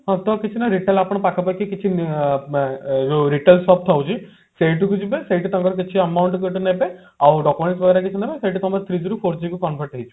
post office ନା retail ଆପଣଙ୍କ ପାଖାପାଖି କିଛି ଅ ବ ଯୋଉ retail shop ଥାଉଛି ସେଇଠିକୁ ଯିବେ ସେଇଠି ତାଙ୍କର କିଛି amount ଯଦି ନେବେ ଆଉ document କିଛି ନେବେ ସେଠି ତମେ three G ରୁ four G convert ହେଇଯିବ